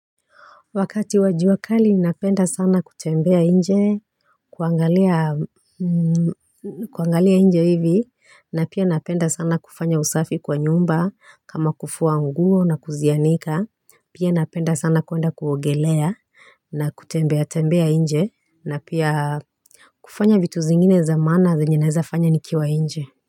Wakati wa juakali napenda sana kutembea nje, kuangalia nje hivi, na pia napenda sana kufanya usafi kwa nyumba, kama kufua nguo na kuzianika, pia napenda sana kuenda kuogelea, na kutembea tembea nje, na pia kufanya vitu zingine za maana za venye naweza fanya nikiwa nje.